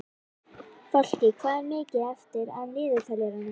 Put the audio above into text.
Fálki, hvað er mikið eftir af niðurteljaranum?